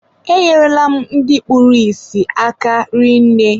E nyere la m ndị kpụrụ isi aka rinne.